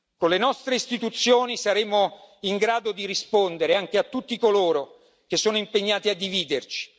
Con le nostre istituzioni saremo in grado di rispondere anche a tutti coloro che sono impegnati a dividerci.